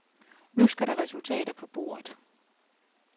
Nu skal der resultater på bordet.